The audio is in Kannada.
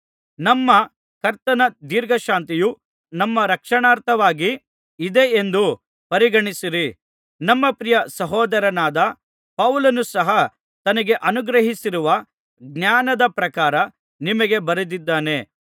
ನಮ್ಮ ಕರ್ತನ ದೀರ್ಘಶಾಂತಿಯು ನಮ್ಮ ರಕ್ಷಣಾರ್ಥವಾಗಿ ಇದೆ ಎಂದು ಪರಿಗಣಿಸಿರಿ ನಮ್ಮ ಪ್ರಿಯ ಸಹೋದರನಾದ ಪೌಲನು ಸಹ ತನಗೆ ಅನುಗ್ರಹಿಸಿರುವ ಜ್ಞಾನದ ಪ್ರಕಾರ ನಿಮಗೆ ಬರೆದಿದ್ದಾನೆ